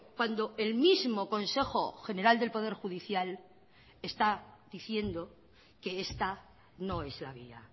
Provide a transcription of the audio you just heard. cuando el mismo consejo general del poder judicial está diciendo que esta no es la vía